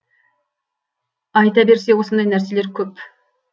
айта берсе осындай нәрселер көп